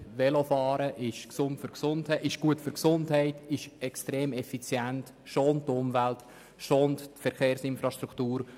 Velofahren ist gut für die Gesundheit, extrem effizient, schont Umwelt und Verkehrsinfrastruktur.